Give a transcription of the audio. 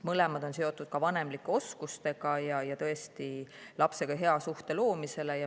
Mõlemad on seotud vanemlike oskustega ja lapsega hea suhte loomisega.